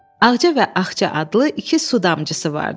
Ağca və Axca adlı iki su damcısı vardı.